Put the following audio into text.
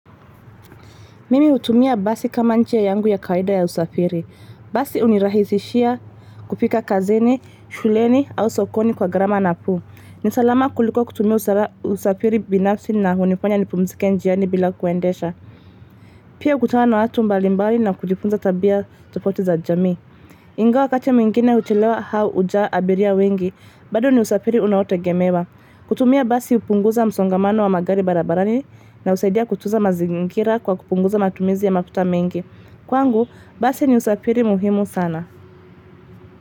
Mimi hutumia basi kama njia yangu ya kawaida ya usafiri. Basi hunirahisishia kufika kazini, shuleni au sokoni kwa gharama nafuu. Ni salama kuliko kutumia usafiri binafsi na hunifanya nipumzike njiani bila kuendesha. Pia kukutana na watu mbalimbali na kujifunza tabia tofauti za jamii. Ingawa wakati mwingine huchelewa au hujaa abiria wengi. Bado ni usafiri unaotegemewa. Kutumia basi hupunguza msongamano wa magari barabarani na husaidia kutuza mazingira kwa kupunguza matumizi ya mafuta mengi. Kwangu, basi ni usafiri muhimu sana.